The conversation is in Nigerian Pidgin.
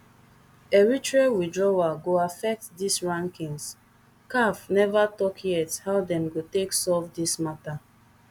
eritrea withdrawal go affect dis rankings caf neva tok yet how dem go take solve dis matter